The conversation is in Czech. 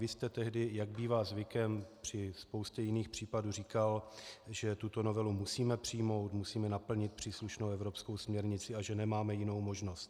Vy jste tehdy, jak bývá zvykem při spoustě jiných případů, říkal, že tuto novelu musíme přijmout, musíme naplnit příslušnou evropskou směrnici a že nemáme jinou možnost.